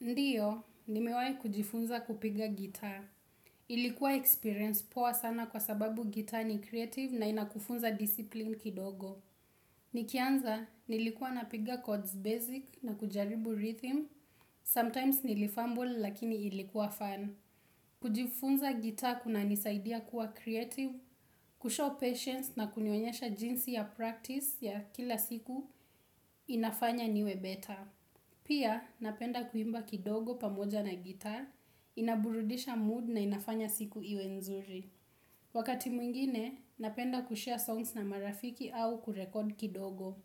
Ndiyo, nimewahi kujifunza kupiga guitar. Ilikuwa experience poa sana kwa sababu guitar ni creative na inakufunza discipline kidogo. Nikianza, nilikuwa napiga chords basic na kujaribu rhythm. Sometimes nilifamble lakini ilikuwa fun. Kujifunza guitar kunanisaidia kuwa creative, kushow patience na kunionyesha jinsi ya practice ya kila siku inafanya niwe better. Pia, napenda kuimba kidogo pamoja na gitar, inaburudisha mood na inafanya siku iwe nzuri. Wakati mwingine, napenda kushare songs na marafiki au kurekod kidogo.